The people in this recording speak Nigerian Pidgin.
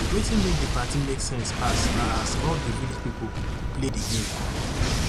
wetin make di party make sense pass na as all di village pipo play di game